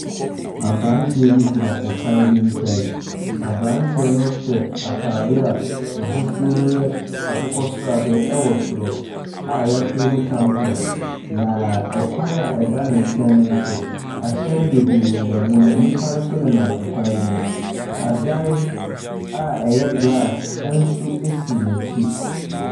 Abranteɛ bi gyina kwan bi nkyɛn. Abranteɛ no hyɛ ataaadeɛ a n'ahosuo no yɛ akokɔsradeɛ wɔ soro a yɛakyerɛw mu champion. Na kwan ɛda ne nkyɛn no nso, ahyɛn bebree nenam mu na nnipa nso nenam akwan no mu. Adan a ɛyɛ glass nso si n'akyi.